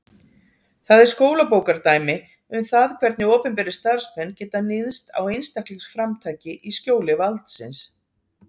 Það er skólabókardæmi um það hvernig opinberir starfsmenn geta níðst á einstaklingsframtaki í skjóli valdsins.